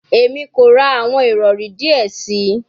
Emi ko ra awọn irọri diẹ sii